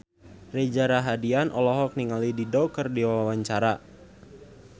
Reza Rahardian olohok ningali Dido keur diwawancara